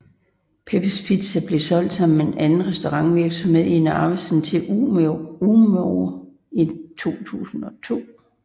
Peppes Pizza blev solgt sammen med anden restaurantvirksomhed i Narvesen til Umoe i 2002